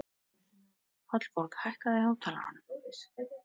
Hallborg, hækkaðu í hátalaranum.